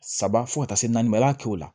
Saba fo ka taa se naani ma i b'a kɛ o la